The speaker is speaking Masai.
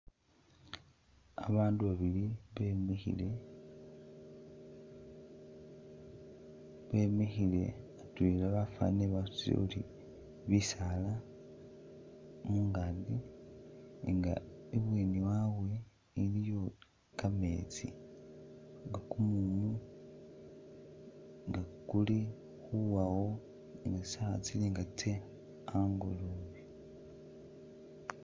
Babaandu babili bemikhile ,bemikhile atwela bafanile basutile tyori bisaala mungakyi nga ibweeni wabwe iliyo kameetsi nga kumumu nga kuli khuwawo sawa tsili nga tse angolobe .